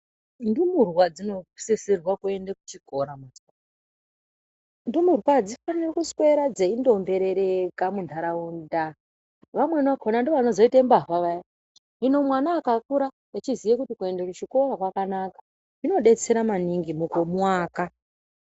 Ndumurwa dzinosisirwa kuende kuchikora. Ndumurwa adzifani kuswera dzeingombereka muntaraunda. Vamweni vakhona ndivo vanozoite mbavha vaya hino mwana akakura echiziye kuti kuende kuchikora kwakanaka zvinodetsere maningi mukumuaka.